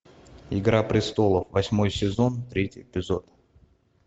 игра престолов восьмой сезон третий эпизод